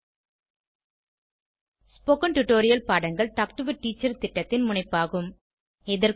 spoken tutorial பாடங்கள் talk to a teacher திட்டத்தின் முனைப்பாகும்